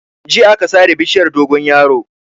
Jiya aka sare bishiyar dogonyaro.